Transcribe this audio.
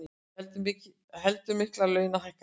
Heldur miklar launahækkanir